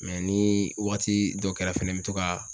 ni waati dɔ kɛra fɛnɛ n bɛ to ka